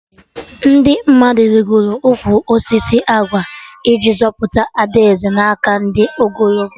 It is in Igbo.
Ndị mmadụ rigoro ụkwụ osisi agwa iji zọpụta Ada Eze na aka ndị ogologo